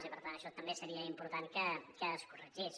i per tant això també seria important que es corregís